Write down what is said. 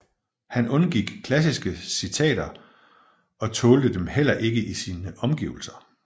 Han undgik klassiske citater og tålte dem heller ikke i sine omgivelser